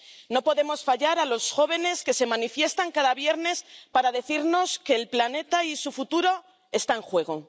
No podemos fallar a los jóvenes que se manifiestan cada viernes para decirnos que el planeta y su futuro están en juego.